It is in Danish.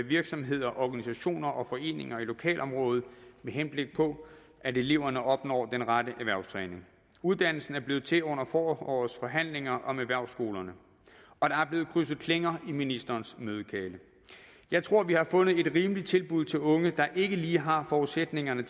virksomheder organisationer og foreninger i lokalområdet med henblik på at eleverne opnår den rette erhvervstræning uddannelsen er blevet til under forårets forhandlinger om erhvervsskolerne og der er blevet krydset klinger i ministerens mødelokale jeg tror vi har fundet et rimeligt tilbud til unge der ikke lige har forudsætningerne